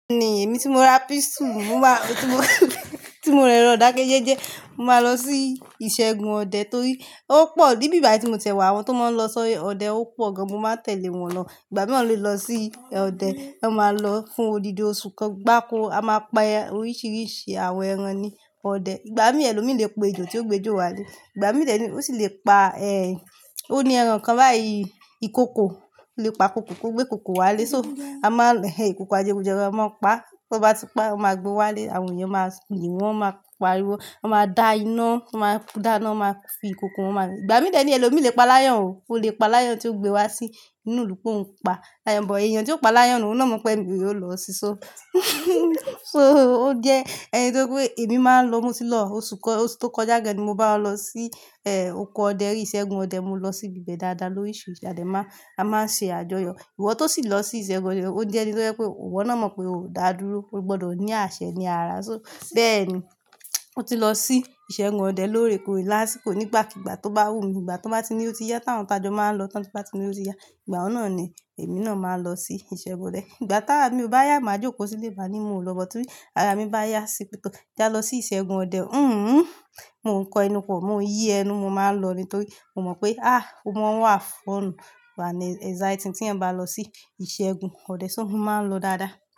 Ní èmi tí mo ra pístùlù, mo máa, tí mo, tí mo rẹrọ idakẹ́jẹ́jẹ́, mo máa lọ sí ìṣègùn ọdẹ torí ó pọ̀ ní bí i bà tí mo tẹ̀wá àwọn tó máa ń lọ sọ ọdẹ, ó pọ̀ gan. Mo máa tẹ̀lé wọn lọ. Ìgbà mìíràn ló lọ sí ọdẹ, wọn máa lọ fún odidi oṣù kan gbá ko, a máa pa oríṣiríṣi àwọn ẹran ní ọdẹ. Ìgbà mìíràn ẹlòmíràn lè pa ejò tí ó gbe jó wálé. Ìgbà mìíràn ní ó sì lè pa, ẹ, ó ní ẹran kan bá i-ìkòkò, o lè pa kòkò kò gbé kòkò wálé. So a máa ń he ìkòkò ajegun jeran, a máa ń pa. Bí wọ́n bá ti pa, wọ́n máa gbé wá lé, àwọn èèyàn máa yìn wọ́n, wọ́n máa pariwo, wọ́n máa da iná, wọ́n máa da iná, wọ́n máa fi ìkòkò, wọ́n máa Ìgbà mìíràn ẹlòmíràn lè pa laya o, o lè pa layan tí ó gbe wá sí inú ìlú pé ó ń pa layan, but èèyàn tí ó pa layan náà mọ̀ pé èmi yóò lọ si. So, so ó jẹ́ ẹnì tó pé èmi máa ń lọ mọ́tí lọ oṣù kọ, oṣù tó kọjá gan ni mo bá wọ́n lọ sí, ẹ, oko ọdẹ rí ìṣègùn ọdẹ, mo lọ sí ibẹ̀ dáadáa lórísi siri tade a máa ń ṣe àjọyọ̀. Ìwọ tó sì lọ sí ìṣègùn ọdẹ, ó jẹ́ ẹni tó fẹ́ pé ìwọ náà mọ̀ pé o dà dúró, o gbọdọ̀ ní àṣẹ ní ara. So, bẹ́ẹ̀ ni, o ti lọ sí ìṣègùn ọdẹ lórèkórè lásìkò nígbàkígbà tó bá wù mí. Ìgbà tó bá ti ní ó ti yá táwọn tá jọ máa ń lọ tán, tó bá ti ní ó ti yá, ìgbà náà ni èmi náà máa lọ sí ìṣègùn ọdẹ. Ìgbà tára mi o bá yá, màá jókòó sílé ba ní mo ò lọ bọ́, torí ara mi bá yá sí, kí n já lọ sí ìṣègùn ọdẹ. Hìhùù. Mo ń kọ ẹnu pọ̀, mo ń yí ẹnu, mo máa ń lọ nítorí mo mọ̀ pé, àh! Mo máa wà fún ọ̀nà bà náà anxiety tí ẹ̀ n bá lọ sí ìṣègùn ọdẹ, so mo máa ń lọ dáadáa.